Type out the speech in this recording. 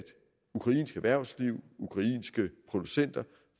ukrainsk erhvervsliv og ukrainske producenter